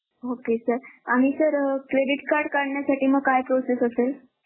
Okay sir आणि sir Credit card काढण्यासाठी मग काय Process असेल?